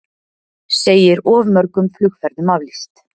Segir of mörgum flugferðum aflýst